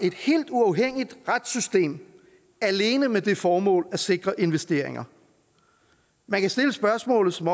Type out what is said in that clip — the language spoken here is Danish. et helt uafhængigt retssystem alene med det formål at sikre investeringer man kan stille spørgsmålet som